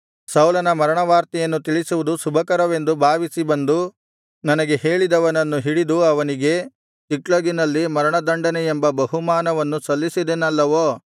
ಸೌಲನ ಮರಣವಾರ್ತೆಯನ್ನು ತಿಳಿಸುವುದು ಶುಭಕರವೆಂದು ಭಾವಿಸಿ ಬಂದು ನನಗೆ ಹೇಳಿದವನನ್ನು ಹಿಡಿದು ಅವನಿಗೆ ಚಿಕ್ಲಗಿನಲ್ಲಿ ಮರಣದಂಡನೆಯೆಂಬ ಬಹುಮಾನವನ್ನು ಸಲ್ಲಿಸಿದೆನಲ್ಲವೋ